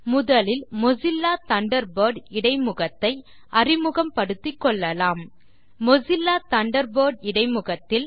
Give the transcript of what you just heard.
முதலில் Mozilla Thunderbird இடைமுகத்தை அறிமுகப்படுத்திக் கொள்ளலாம் மொசில்லா தண்டர்பர்ட் இடைமுகத்தில்